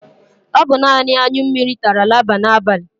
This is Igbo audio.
O bu nani aṅyụ mmiri tara laba n'abali